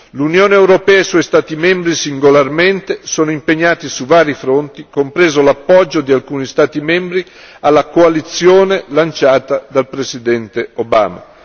L'Unione europea e i suoi Stati membri singolarmente sono impegnati su vari fronti, compreso l'appoggio di alcuni Stati membri alla coalizione lanciata dal presidente Obama.